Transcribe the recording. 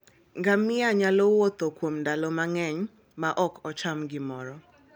Ngamia nyalo wuotho kuom ndalo mang'eny maok ocham gimoro.